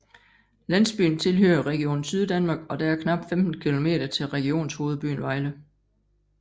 Landsbyen tilhører Region Syddanmark og der er knap 15 kilometer til regionshovedbyen Vejle